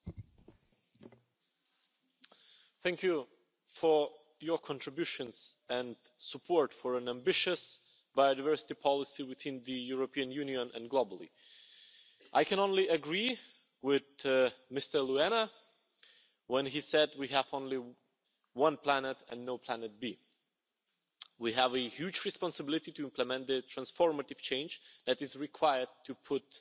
Mr President, I wish to thank Members for their contributions and support for an ambitious biodiversity policy within the European Union and globally. I can only agree with Mr Luena, when he said we have only one planet and no Planet B'. We have a huge responsibility to implement the transformative change that is required to put